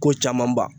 Ko caman ba